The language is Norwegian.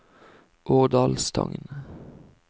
Årdalstangen